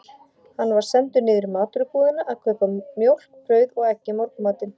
Hann var sendur niður í matvörubúðina að kaupa mjólk, brauð og egg í morgunmatinn.